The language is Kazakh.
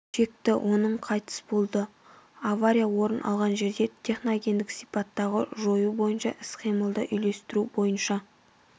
шекті оның қайтыс болды авария орын алған жерде техногендік сипаттағы жою бойынша іс-қимылды үйлестіру бойынша